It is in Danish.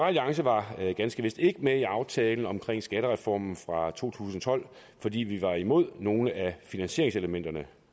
alliance var ganske vist ikke med i aftalen om skattereformen fra to tusind og tolv fordi vi var imod nogle af finansieringselementerne